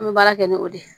An bɛ baara kɛ ni o de ye